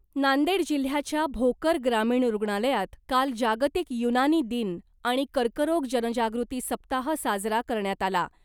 नांदेड जिल्ह्याच्या भोकर ग्रामीण रूग्णालयात काल जागतिक युनानी दिन आणि कर्करोग जनजागृती सप्ताह साजरा करण्यात आला .